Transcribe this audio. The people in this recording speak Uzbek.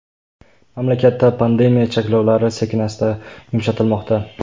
Mamlakatda pandemiya cheklovlari sekin-asta yumshatilmoqda.